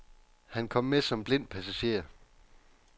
Han kom med som blind passager.